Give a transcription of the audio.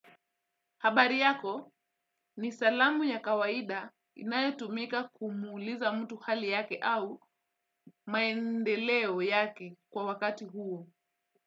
Habari yako ni salamu ya kawaida inayotumika kumuuliza mtu hali yake au maendeleo yake kwa wakati huo.